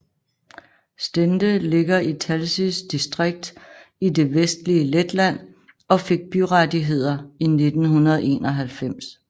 Stende ligger i Talsis distrikt i det vestlige Letland og fik byrettigheder i 1991